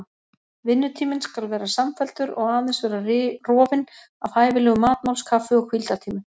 Vinnutíminn skal vera samfelldur og aðeins vera rofinn af hæfilegum matmáls-, kaffi- og hvíldartímum.